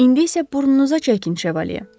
İndi isə burnunuza çəkin, Şevalye.